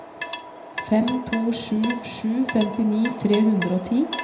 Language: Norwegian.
fem to sju sju femtini tre hundre og ti